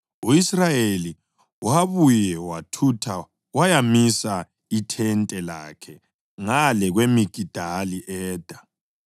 U-Israyeli wabuye wathutha wayamisa ithente lakhe ngale kweMigidali-Eda.